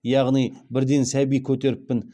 яғни бірден сәби көтеріппін